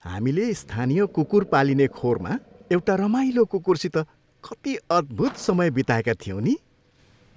हामीले स्थानीय कुकुर पालिने खोरमा एउटा रमाइलो कुकुरसित कति अद्भुत समय बिताएका थियौँ नि।